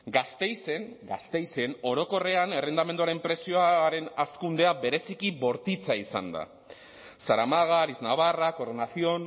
gasteizen gasteizen orokorrean errentamenduaren prezioaren hazkundea bereziki bortitza izan da zaramaga ariznabarra coronación